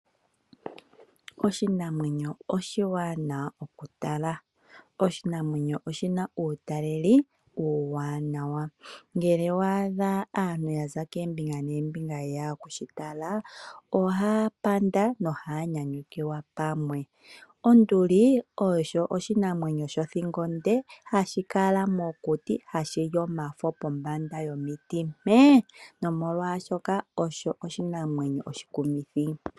Oshinamwenyo oshiwanawa okutala. Oshinamwenyo oshina uutaleli uuwanawa. Ngele wa adha aantu yaza keembinga nembinga ye ya okushi tala , oha panda noha nyanyukilwa pamwe. Onduli osho oshinamwenyo shothingo onde hashi kala mokuti hashi li omafo pomanda yomiti mpe. Nomalwa shoka osho oshinamwenyo oshikumithi .